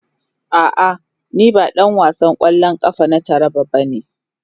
A'a, ni ba dan wasan kwallon kafa na jihar Taraba bane.